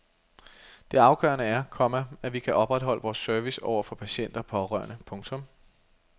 Det afgørende er, komma at vi kan opretholde vores service over for patienter og pårørende. punktum